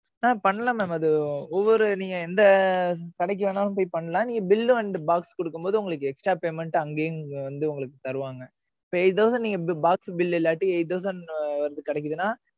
ஆஹ் பண்ணலாம் mam அது, ஒவ்வொரு, நீங்க, எந்த கடைக்கு வேணாலும், போய் பண்ணலாம். நீங்க, bill and box கொடுக்கும் போது, உங்களுக்கு, extra payment, அங்கேயும் வந்து, உங்களுக்கு தருவாங்க eight thousand நீங்க box bill இல்லாட்டி, eight thousand வந்து கிடைக்குதுன்னா,